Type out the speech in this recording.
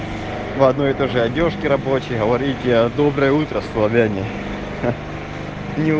вводное тоже одёжки рабочие говорите доброе утро словении